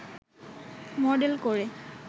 model করে